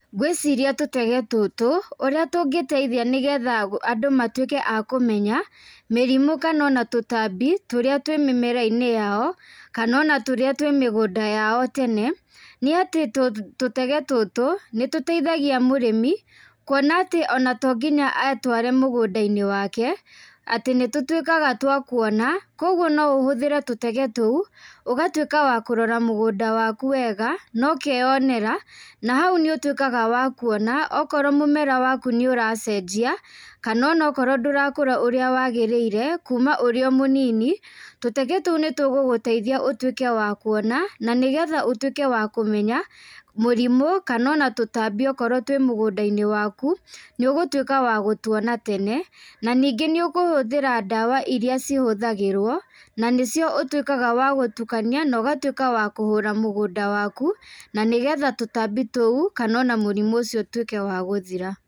Ngwĩciria tũtege tũtũ, ũrĩa tũngĩteithia nĩgetha Andũ matuĩke a kũmenya mĩrimũ kana ona tũtambi tũrĩa twĩ mĩmera-inĩ yao, kana ona tũrĩa twĩ mĩgũnda yao tene. Nĩ atĩ tũtege tũtũ, nĩtũteithagia mũrĩmi, kuona atĩ ona tonginya aetware mũgũnda-inĩ wake, atĩ nĩtũtwĩkaga twa kuona. Koguo noũhũthĩre tũtege tũu, ũgatwĩka wa kũrora mũgũnda waku wega nokeonera. Na hau nĩũtwĩkaga wa kuona, okorwo mũmera waku nĩũracenjia, kana onokorwo ndũrakũra ũrĩa wagĩrĩire kuuma ũrĩ o mũnini. Tũtege tũu nĩtũgũgũteithia ũtuĩke wa kuona, na nigetha ũtuĩke wa kũmenya, mũrimũ kana ona tũtambi okorwo tũrĩ mũgũnda-inĩ waku, nĩũgũtuĩka wa gũtuona tene. Na ningĩ nĩũgũhũthĩra dawa iria cihũthagĩrwo, na nĩcio ũtwĩkaga wa gũtukania na ũgatwĩka wa kũhũra mũgũnda waku na nĩgetha tũtambi tũu kana ona mũrimũ ũcio ũtuĩke wa gũthira.